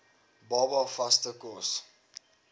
baba vaste kos